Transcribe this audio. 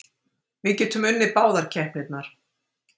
Við getum unnið báðar keppnirnar.